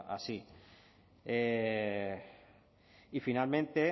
así y finalmente